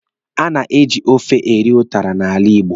A na-eji ofe eri ụtara n'ala Igbo.